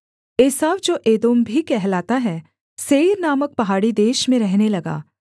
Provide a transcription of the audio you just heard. एसाव जो एदोम भी कहलाता है सेईर नामक पहाड़ी देश में रहने लगा